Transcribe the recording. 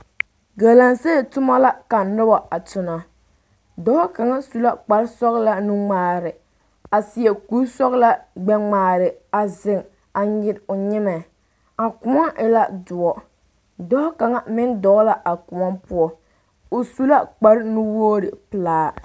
Galamsee toma la ka noba a tona dɔɔ kaŋ su la kpar sɔgelaa nuŋmaare a seɛ kuri sɔgelaa gbɛ ŋmaara a zeŋ a nyere o nyemɛ a kóɔ e la doɔ dɔɔ kaŋa meŋ dɔɔ la a kóɔ poɔ o zu la kpar nuwoori pelaa